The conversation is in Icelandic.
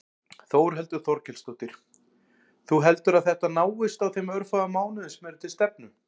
Þórhildur Þorkelsdóttir: Þú heldur að þetta náist á þeim örfáu mánuðum sem eru til stefnu?